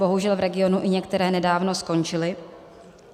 Bohužel v regionu i některé nedávno skončily.